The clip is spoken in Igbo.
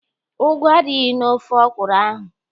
Ugu adịghị n'ofe ọkwụrụ ahụ.